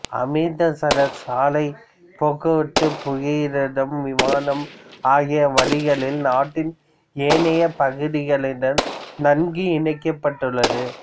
அமிர்தசரஸ் சாலைப் போக்குவரத்து புகையிரதம் விமானம் ஆகிய வழிகளில் நாட்டின் ஏனைய பகுதிகளுடன் நன்கு இணைக்கப்பட்டுள்ளது